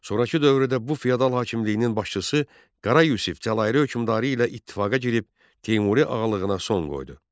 Sonrakı dövrdə bu feodal hakimliyinin başçısı Qara Yusif Cəlairi hökmdarı ilə ittifaqa girib, Teymuri ağalığına son qoydu.